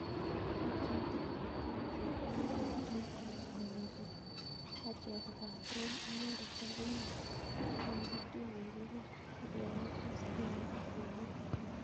Patriot Obiekezie kokimwachin kometo kobeli achek kopaten inendet agine makituch kikipir ak kereben simoit," kimwa.